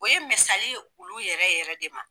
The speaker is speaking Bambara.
O ye misali ye olu yɛrɛ yɛrɛ de ma.